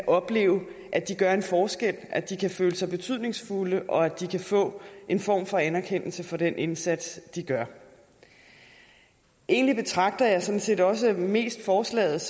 opleve at de gør en forskel at de kan føle sig betydningsfulde og at de kan få en form for anerkendelse for den indsats de gør egentlig betragter jeg sådan set også mest forslaget